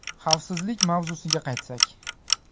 Xavfsizlik mavzusiga qaytsak.